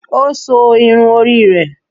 Ó so irun orí rẹ̀